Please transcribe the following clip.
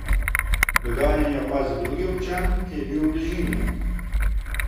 Dogajanje je opazil drugi občan, ki je bil v bližini.